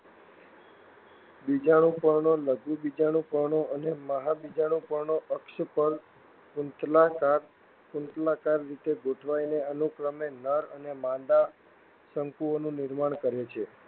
બીજાણુપર્ણો લઘુબીજાણુપર્ણો અને મહાબીજાણુપર્ણો અક્ષ પર કુંતલાકાર રીતે ગોઠવાઈને અનુક્રમે નર અને માદા શંકુઓનું નિર્માણ કરે છે.